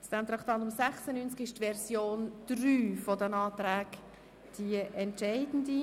Für dieses Traktandum 96 ist die Version 3 der Anträge entscheidend.